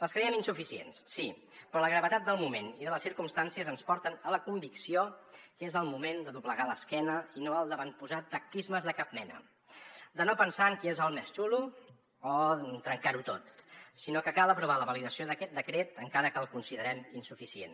les creiem insuficients sí però la gravetat del moment i de les circumstàncies ens porten a la convicció que és el moment de doblegar l’esquena i no el d’avantposar tacticismes de cap mena de no pensar en qui és el més xulo o en trencar ho tot sinó que cal aprovar la validació d’aquest decret encara que el considerem insuficient